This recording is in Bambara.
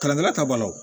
Kalan ta balo